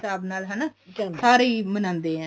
ਹਿਸਾਬ ਨਾਲ ਹਨਾ ਹੀ ਮਨਾਉਂਦੇ ਆ